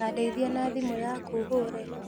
Tandeithia na thimũ yaku hũre